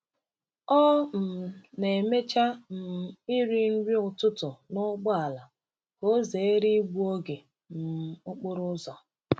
Ọ um na-emecha um iri nri ụtụtụ n’ụgbọala ka ọ zere igbu oge um okporo ụzọ.